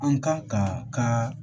An kan ka ka